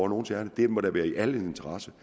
nogles ærinde det må da være i alles interesse